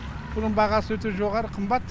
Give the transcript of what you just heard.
бұның бағасы өте жоғары қымбат